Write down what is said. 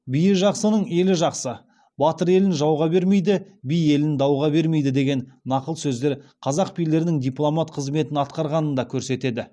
биі жақсының елі жақсы батыр елін жауға бермейді би елін дауға бермейді деген нақыл сөздер қазақ билерінің дипломат қызметін атқарғанын да көрсетеді